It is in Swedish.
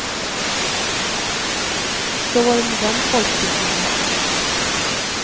Så var det med den folkbildningen.